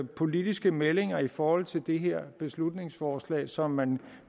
politiske meldinger i forhold til det her beslutningsforslag som man